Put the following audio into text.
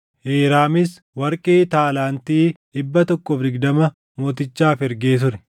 Hiiraamis warqee taalaantii 120 mootichaaf ergee ture.